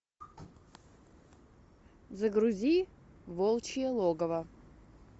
загрузи волчье логово